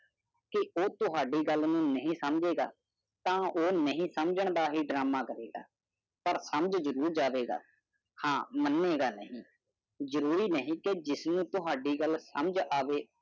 ਇਹ ਨਾ ਸਮਝੋ ਕਿ ਤੁਹਾਡੀ ਗੱਲ ਤਨ ਓਹੁ ਕੋਈ ਪ੍ਰੇਰਨਾ ਨਹੀਂ ਨਾਟਕ ਕੰਮ ਚਲਾ ਗਿਆ ਪਰ ਸਮਝਣਾ ਚਾਹੀਦਾ ਹੈ ਉਸ ਨੇ ਕਈ ਐਨ. ਐਚ. ਐਚ ਜ਼ਰੂਰੀ ਨਹੀ